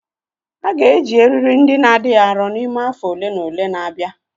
A ga-eji eriri ndị na adịghị arọ n'ime afọ ole na ole na-abịa